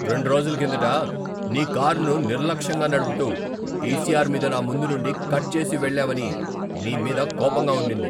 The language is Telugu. రెండు రోజుల కిందట నీ కారును నిర్లక్ష్యంగా నడుపుతూ, ఈసిఆర్ మీద నాముందు నుండి కట్ చేసి వెళ్ళావని నీ మీద కోపంగా ఉండింది.